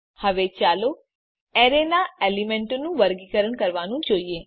હવે ચાલો એરે નાં એલીમેન્તોનું વર્ગીકરણ કરવાનું જોઈએ